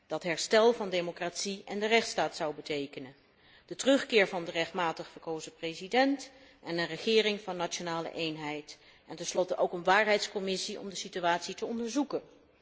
dat herstel van de democratie en de rechtsstaat zou betekenen, de terugkeer van de rechtmatig verkozen president en een regering van nationale eenheid, en tenslotte ook een waarheidscommissie om de situatie te onderzoeken.